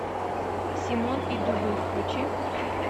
симон и дубы включи